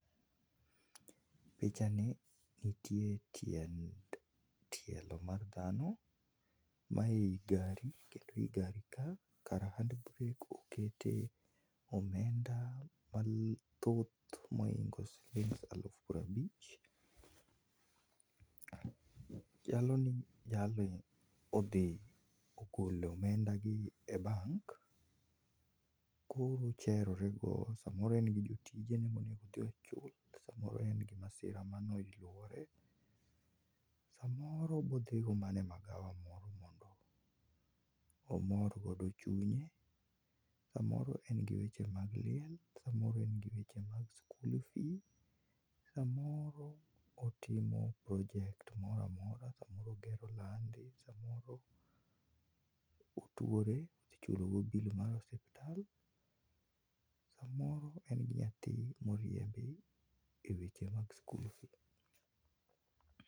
Pichani nitie tielo mar dhano mae i gari kendo ei gari ka kar hand brake okete omenda mathoth mohingo shiling elufu piero abich, jalni odhi ogolo omenda gi e bank koro ocherore go samoro en gi joticje ne mowinjore odhi ochul samoro en gi masira moro mane oyuore samoro bodhigo mana e magawa moro mondo omor godo chune. Samoro en gi weche mag liel samoro en gi weche mag school fee samoro otimo project moro amora samoro ogero landi samoro otuore odhi chulo go bill mar osiptal, samoro en gi nyathi moriembi e weche mag school fee